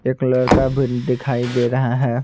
एक लड़का भी दिखाई दे रहा है।